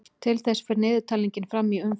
Til þess fer talningin fram í umferðum.